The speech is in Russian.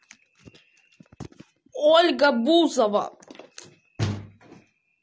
ольга бузова